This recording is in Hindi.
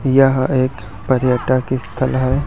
यह एक पर्यटक स्थल है।